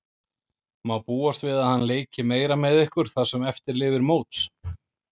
Má búast við að hann leiki meira með ykkur það sem eftir lifir móts?